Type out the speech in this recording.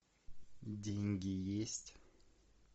деньги есть